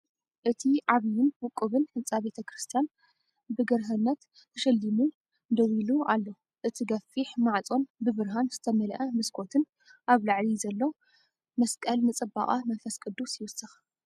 እቲ ዓብይን ውቁብን ህንጻ ቤተክርስትያን ብግርህነት ተሸሊሙ ደው ኢሉ ኣሎ። እቲ ገፊሕ ማዕጾን ብብርሃን ዝተመልአ መስኮትን ኣብ ላዕሊ ዘሎ መስቀልን ንጽባቐ መንፈስ ቅዱስ ይውስኽ።